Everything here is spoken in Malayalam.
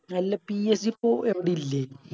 അല്ല PSG ഇപ്പൊ എവിടെല്ലേ